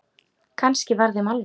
Kannski var þeim alvara.